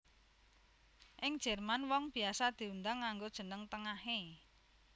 Ing Jerman wong biasa diundang nganggo jeneng tengahé